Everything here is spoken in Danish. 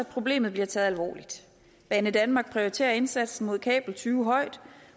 problemet bliver taget alvorligt banedanmark prioriterer indsatsen mod kabeltyve højt